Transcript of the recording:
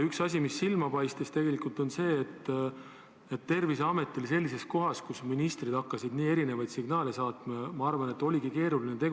Üks asju, mis silma paistis, on see, et Terviseametil siis, kui ministrid hakkasid nii erinevaid signaale saatma, ma arvan, oligi keeruline tegutseda.